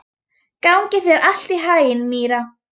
Gangi þér allt í haginn, Myrra.